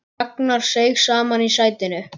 Ragnar seig saman í sætinu.